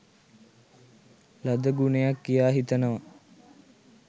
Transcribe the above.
ලද ගුණයක් කියා හිතනවා.